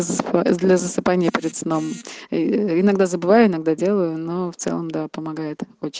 заа для засыпания перед сном иногда забываю иногда делаю но в целом да помогает очень